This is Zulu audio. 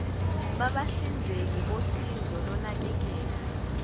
babahlinzeki bosizo lonakekelo